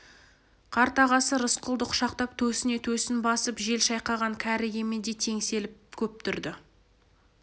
қарт ағасы рысқұлды құшақтап төсіне төсін басып жел шайқаған кәрі емендей теңселіп көп тұрды